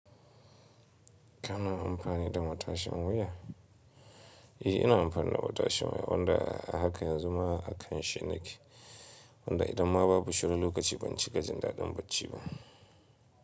Kana amfani da matashin wuya? Eh, ina amfani da matashi wanda haka yanzu ma a kanshi nake. Wanda idan ma babu shi wani lokaci ban cika jin daɗin bacci ba.